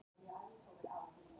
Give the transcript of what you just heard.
Ég heyri það á röddinni.